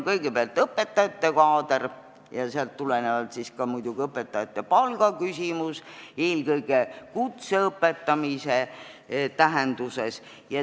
Kõigepealt õpetajate kaader ja sellest tulenevalt muidugi ka õpetajate palga küsimus, eelkõige kutse õpetamise tähenduses.